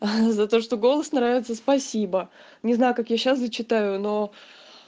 за то что голос нравится спасибо не знаю как я сейчас зачитаю но